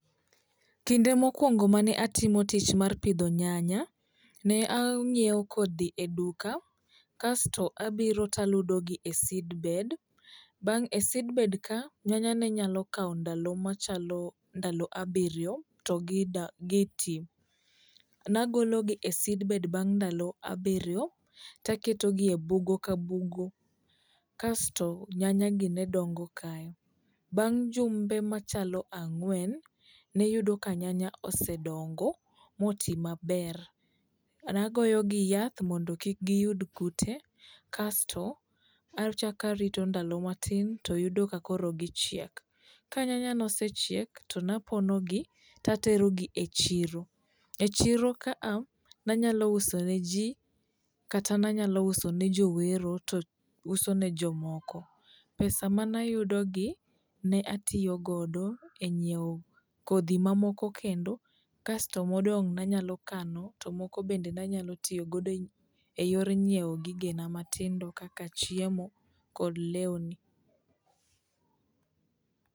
Kinde mokuongo mane atimo tich mar pidho nyanya, ne ang'iewo kodhi eduka kasto abiro to aludogi e seedbed[cxs].Bang' e seedbedka nyanya ne nyalo kawo ndalo machalo ndalo abiryo to gi tii. Ne agologi e seedbed bang' ndalo abiryo to aketogie bugo ka bugo kasto nyanya gi ne dongo kae. Bang' jumbe machalo ang'wen ne yudo ka nyanya osedongo motii maber. Ne agoyogi yath mondo kik giyud kute kasto achaka arito ndalo matin toyudo ka koro gi chiek. Ka nyanya nosechiek to ne aponogi to aterogi echiro. Echiro ka a nanyalo uso ne ji kata nanyalo usone jowero to usone jomoko. Pesa mane ayudogi ne atiyo godo e nyiewo kodhi mamoko kendo kasto modong' ne anyalo kano to moko bende ne anyalo tiyo godo eyor nyiewo gigena matindo kaka chiemo kod lewni.